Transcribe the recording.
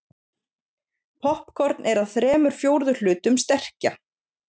Poppkorn er að þremur fjórðu hlutum sterkja.